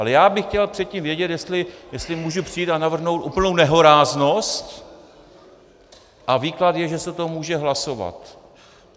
Ale já bych chtěl předtím vědět, jestli můžu přijít a navrhnout úplnou nehoráznost, a výklad je, že se to může hlasovat.